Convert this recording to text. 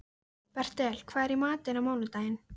Bertel, hvað er í matinn á mánudaginn?